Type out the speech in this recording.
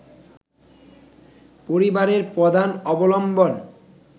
পরিবারের প্রধান অবলম্বন